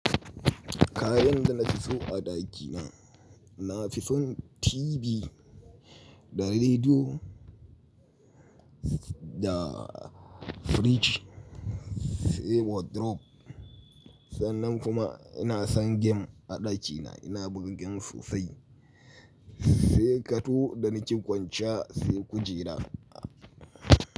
Kayan da na fi so a ɗakina, na fi son tibi da rediyo da firij sai wardrobe. Sannan kuma ina son gem a ɗakina, ina buga gem sosai sai ƙato da nake kwancan sai kujera.